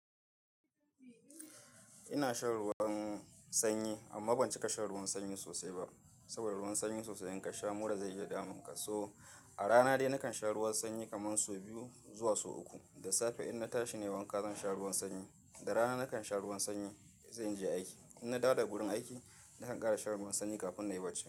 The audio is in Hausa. Ina shan ruwan sanyi amma ban cika shan ruwan sanyi sosai ba. Sabida ruwan sanyi sosai in ka sha mura zai iya damun ka. So, a rana dai nakan sha ruwan sanyi kaman sau biyu zuwa sau uku. Da safe in na tashi nayi wanka zan sha ruwan sanyi. Da rana nakan sha ruwan sanyi in zan je aiki. In na dawo daga gurin aiki, nakan ƙara shan ruwan sanyi kafin nayi barci.